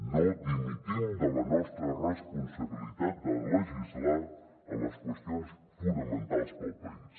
no dimitim de la nostra responsabilitat de legislar en les qüestions fonamentals per al país